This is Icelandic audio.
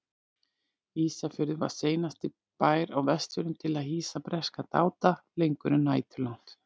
Ísafjörður var seinasti bær á Vestfjörðum til að hýsa breska dáta lengur en næturlangt.